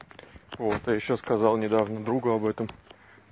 вот а ещё сказал недавно другу об этом